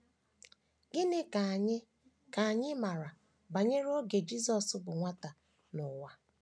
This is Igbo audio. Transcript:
Gịnị ka anyị ka anyị maara banyere oge Jisọs bụ nwata n’ụwa?